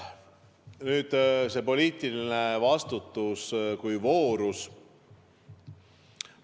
Nüüd poliitilisest vastutusest kui voorusest.